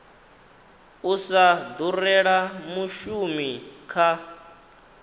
u sa durela mushumi kha